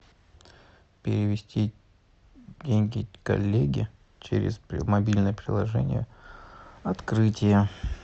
перевести деньги коллеге через мобильное приложение открытие